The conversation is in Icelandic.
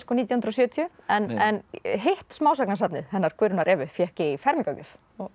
nítján hundruð og sjötíu en hitt smásagnasafnið hennar Guðrúnar Evu fékk ég í fermingargjöf þá